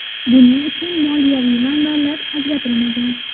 Buning uchun moliyaviy manbalar ajratilmagan.